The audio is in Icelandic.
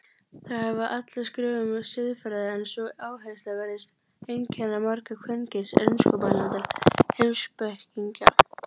Þær hafa allar skrifað um siðfræði en sú áhersla virðist einkenna marga kvenkyns enskumælandi heimspekinga.